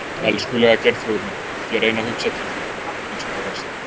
Elskulega Geirþrúður mín, ég reyni að hugsa til þín eins og þú varst.